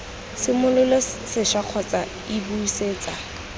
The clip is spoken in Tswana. simolole sešwa kgotsa iii busetsa